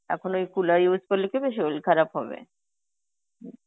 এখন ওই cooler use করলে কি হবে, শরীল খারাপ হবে.